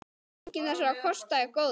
Enginn þessara kosta er góður.